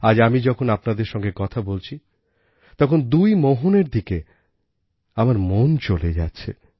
আজ আমি যখন আপনাদের সঙ্গে কথা বলছি তখন দুই মোহনের দিকে আমার মন চলে যাচ্ছে